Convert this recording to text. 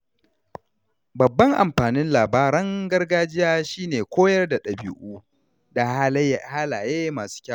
Babban amfanin labaran gargajiya shi ne koyar da ɗabi’u da halaye masu kyau.